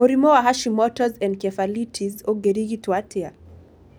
Mũrimũ wa Hashimoto's encephalitis ũngĩrigituo atĩa?